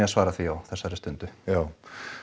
að svara því á þessari stundu já